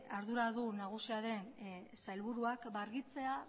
arduradun nagusiaren sailburuak argitzea